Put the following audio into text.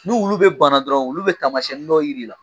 Ni wulu bɛ bana dɔrɔn wulu bɛ taamasiyɛnni dɔ jira i la